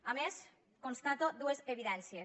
a més constato dues evidències